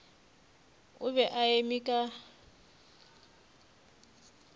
o be a eme ka